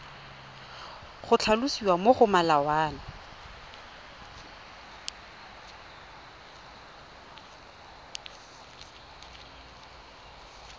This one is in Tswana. go tlhalosiwa mo go molawana